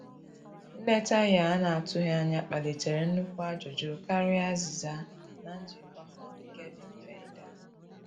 Nleta ya ana atụghi anya kpalitere nukwụ ajụjụ karịa azìza na njiko ha nke di mfe ida